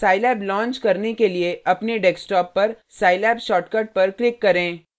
scilab launch करने के लिए अपने डेस्कटॉप पर scilab शॉर्टकट पर क्लिक करें